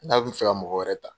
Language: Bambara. N'a bɛ fɛ ka mɔgɔ wɛrɛ ta.